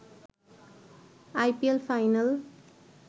I P L final